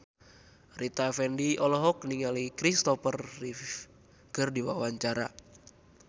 Rita Effendy olohok ningali Kristopher Reeve keur diwawancara